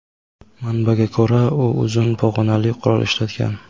Manbaga ko‘ra, u uzun pog‘onali qurol ishlatgan.